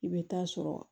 I bɛ taa sɔrɔ